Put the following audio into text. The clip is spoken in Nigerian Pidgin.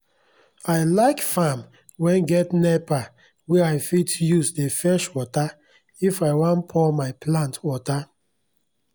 i like farm wen get nepa wey i fit use dey fetch water if i wan pour my plant water